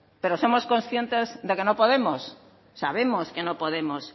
pero somos conscientes de que no podemos sabemos que no podemos